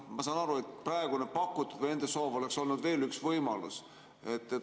Ma saan aru, et praegune nende soov oleks olnud veel üks võimalus.